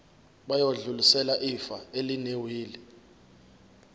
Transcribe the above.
bayodlulisela ifa elinewili